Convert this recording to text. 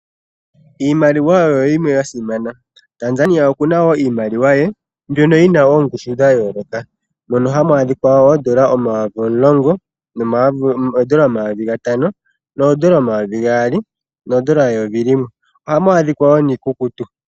Iimaliwa oyo yimwe ya simana. Tanzania oku na wo iimaliwa ye mbyono yi na oongushu dha yooloka mono hamu adhika wo ooshilingi omayovi omulongo, ooshilingi omayovi gatano, ooshilingi omayovi gaali nooshilingi eyovo limwe. Ohamu adhika wo niikukutu.